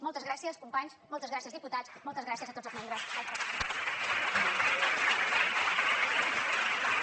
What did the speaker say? moltes gràcies companys moltes gràcies diputats moltes gràcies a tots els membres del parlament